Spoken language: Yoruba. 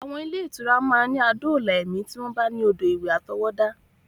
Àwọn ilé-ìtura máa ní adóòlà ẹ̀mí tí wọ́n bá ní odò ìwẹ̀ àtọwọ́dá.